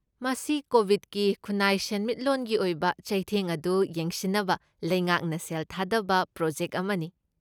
ꯃꯁꯤ ꯀꯣꯕꯤꯗꯀꯤ ꯈꯨꯟꯅꯥꯏ ꯁꯦꯟꯃꯤꯠꯂꯣꯟꯒꯤ ꯑꯣꯏꯕ ꯆꯩꯊꯦꯡ ꯑꯗꯨ ꯌꯦꯡꯁꯤꯟꯅꯕ ꯂꯩꯉꯥꯛꯅ ꯁꯦꯜ ꯊꯥꯗꯕ ꯄ꯭ꯔꯣꯖꯦꯛꯠ ꯑꯃꯅꯤ꯫